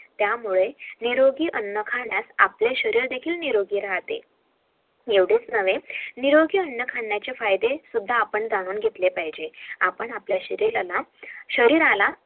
त्यामुळे निरोगी अन्न खाण्यात आपले शरीर देखील निरोगी राहते